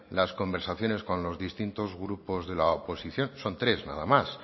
las conversaciones con los distintos grupos de la oposición son tres nada más